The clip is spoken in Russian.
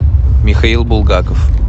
михаил булгаков